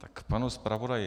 K panu zpravodaji.